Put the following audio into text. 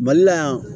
Mali la yan